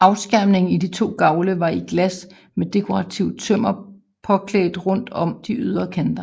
Afskærmningen i de to gavle var i glas med dekorativt tømmer påklædt rundt om de ydre kanter